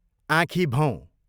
आँखीभौँ